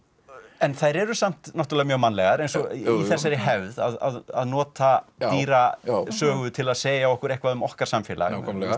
en þær eru samt mjög mannlegar eins og í þessari hefð að nota dýrasögu til að segja okkur eitthvað um okkar samfélag